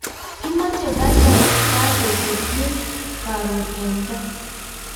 Kimache pato kotien karon en gaa